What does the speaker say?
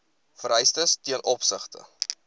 vereistes ten opsigte